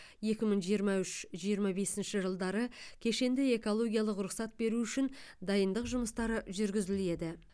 екі мың жиырма үш жиырма бесінші жылдары кешенді экологиялық рұқсат беру үшін дайындық жұмыстары жүргізіледі